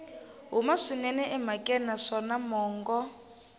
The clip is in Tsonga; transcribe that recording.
huma swinene emhakeni naswona mongo